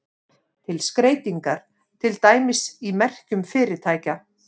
Til skreytingar, til dæmis í merkjum fyrirtækja.